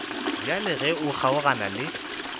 bjale ge o kgaogana le